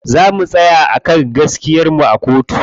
Za mu tsaya a kan gaskiyar mu a kotu.